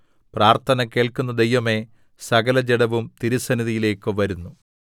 പ്രാർത്ഥന കേൾക്കുന്ന ദൈവമേ സകലജഡവും തിരുസന്നിധിയിലേക്ക് വരുന്നു